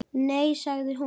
Nei sagði hún.